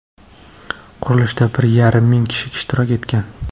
Qurilishda bir yarim ming kishi ishtirok etgan.